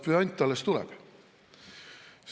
Puänt alles tuleb.